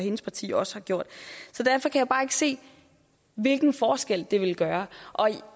hendes parti også har gjort så derfor kan jeg bare ikke se hvilken forskel det ville gøre